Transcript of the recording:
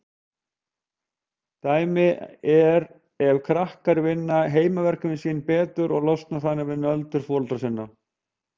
Dæmi er ef krakkar vinna heimaverkefnin sín betur og losna þannig við nöldur foreldra sinna.